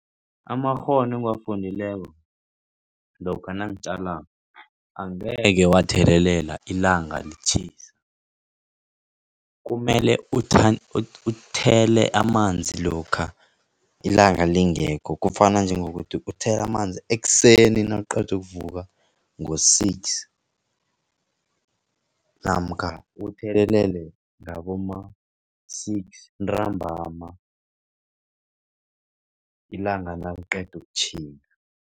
Amakghono engiwafundileko lokha nangitjalako, angeke wathelelela ilanga litjhisa. Kumele uthele amanzi lokha ilanga lingekho. Kufana njengokuthi uthela amanzi ekuseni nawuqeda ukuvuka ngo-six, namkha uthelelele ngaboma-six ntambama ilanga naliqeda ukutjhinga.